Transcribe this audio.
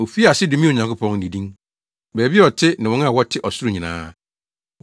Ofii ase domee Onyankopɔn, ne din, baabi a ɔte ne wɔn a wɔte ɔsoro nyinaa.